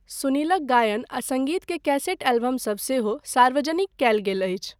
सुनीलक गायन आ सङ्गीत के कैसेट एलबमसभ सेहो सार्वजनिक कयल गेल अछि।